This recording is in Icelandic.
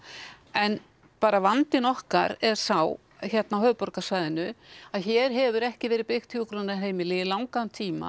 en bara vandinn okkar er sá hérna á höfuðborgarsvæðinu að hér hefur ekki verið byggt hjúkrunarheimili í langan tíma